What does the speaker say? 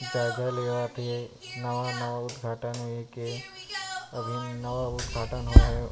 Charger लेवत हे नवा-नवा उद्घाटन हुए के अभी नवा उद्धघाटन हो हे।